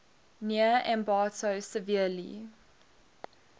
near ambato severely